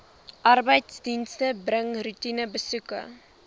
arbeidsdienste bring roetinebesoeke